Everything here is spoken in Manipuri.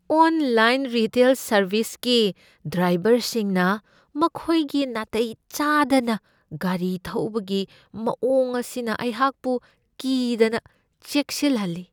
ꯑꯣꯟꯂꯥꯏꯟ ꯔꯤꯇꯦꯜ ꯁꯔꯕꯤꯁꯀꯤ ꯗ꯭ꯔꯥꯏꯕꯔꯁꯤꯡꯅ ꯃꯈꯣꯏꯒꯤ ꯅꯥꯇꯩ ꯆꯥꯗꯅ ꯒꯥꯔꯤ ꯊꯧꯕꯒꯤ ꯃꯋꯣꯡ ꯑꯁꯤꯅ ꯑꯩꯍꯥꯛꯄꯨ ꯀꯤꯗꯅ ꯆꯦꯛꯁꯤꯟꯍꯜꯂꯤ ꯫